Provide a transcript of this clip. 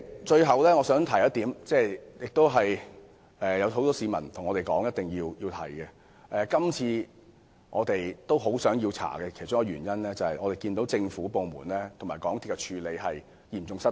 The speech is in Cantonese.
最後，我想提出一點——這亦是很多市民要求我們提出的論點——我們希望調查事件的原因之一，是因為看到政府部門和港鐵公司的處理嚴重失當。